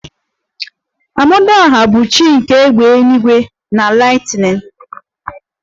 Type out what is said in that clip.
Amadioha bụ chi nke égbè eluigwe na lightening